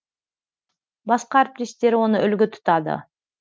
басқа әріптестері оны үлгі тұтады